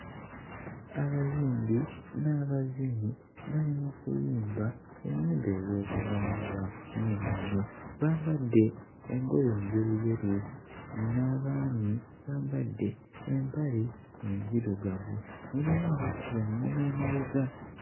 Abayimbi n'abazinyi bali mu kuyimba ennyimba ez'obuwangwa n'ennono bambadde enjoye njeruyeru n'abaami bambadde empale enzirugavu mulimu abakuba eᵑᵑoma emabega.